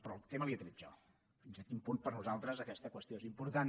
però el tema l’he tret jo fins a quin punt per nosaltres aquesta qüestió és important